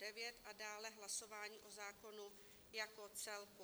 Dále hlasování o zákonu jako celku.